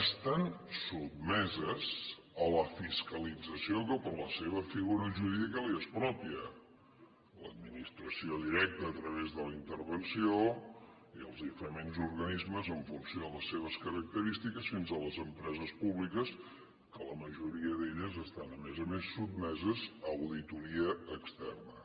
estan sotmeses a la fiscalització que per la seva figura jurídica els és pròpia l’administració directa a través de la intervenció i els diferents organismes en funció de les seves característiques fins a les empreses públiques que la majoria d’elles estan a més a més sotmeses a auditoria externa